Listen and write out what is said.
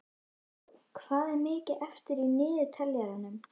Ásþór, hvað er mikið eftir af niðurteljaranum?